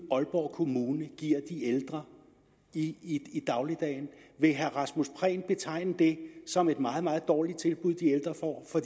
aalborg kommune giver de ældre i i dagligdagen vil herre rasmus prehn betegne det som et meget meget dårligt tilbud de ældre får for